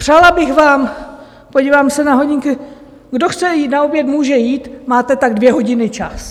Přála bych vám - podívám se na hodinky, kdo chce jít na oběd, může jít, máte tak dvě hodiny čas.